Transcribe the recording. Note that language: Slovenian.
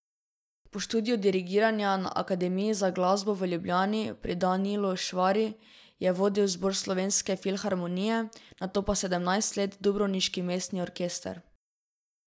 Po študiju dirigiranja na Akademiji za glasbo v Ljubljani pri Danilu Švari je vodil Zbor Slovenske filharmonije, nato pa sedemnajst let Dubrovniški mestni orkester.